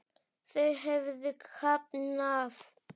Þau höfðu kafnað.